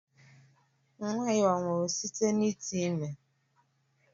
Nwa ya ọ̀ nwụrụ site na ite ime?